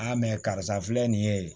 mɛ karisa filɛ nin ye